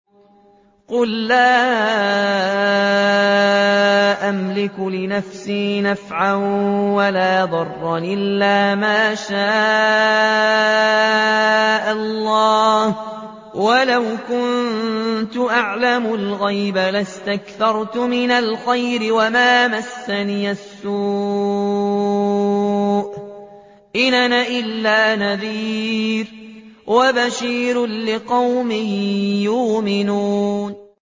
قُل لَّا أَمْلِكُ لِنَفْسِي نَفْعًا وَلَا ضَرًّا إِلَّا مَا شَاءَ اللَّهُ ۚ وَلَوْ كُنتُ أَعْلَمُ الْغَيْبَ لَاسْتَكْثَرْتُ مِنَ الْخَيْرِ وَمَا مَسَّنِيَ السُّوءُ ۚ إِنْ أَنَا إِلَّا نَذِيرٌ وَبَشِيرٌ لِّقَوْمٍ يُؤْمِنُونَ